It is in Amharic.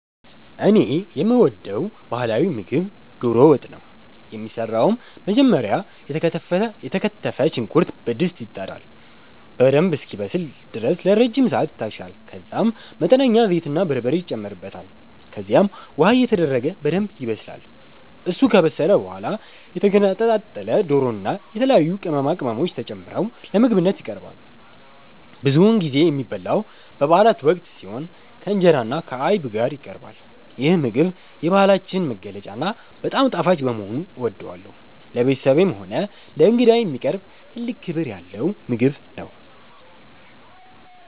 እኔ የምወደው ባህላዊ ምግብ ዶሮ ወጥ ነው። የሚሰራውም መጀመሪያ የተከተፈ ሽንኩርት በድስት ይጣዳል፤ በደንብ እስኪበስል ድረስ ለረጅም ሰዓት ይታሻል፤ ከዛም መጠነኛ ዘይትና በርበሬ ይጨመርበታል። ከዚያም ውሃ እየተደረገ በደንብ ይበሰላል። እሱ ከበሰለ በኋላ የተገነጣጠለ ዶሮና የተለያዩ ቅመማ ቅመሞች ተጨምረው ለምግብነት ይቀርባል። ብዙውን ጊዜ የሚበላው በበአላት ወቅት ሲሆን፣ ከእንጀራና ከአይብ ጋር ይቀርባል። ይህ ምግብ የባህላችን መገለጫና በጣም ጣፋጭ በመሆኑ እወደዋለሁ። ለቤተሰብም ሆነ ለእንግዳ የሚቀርብ ትልቅ ክብር ያለው ምግብ ነው።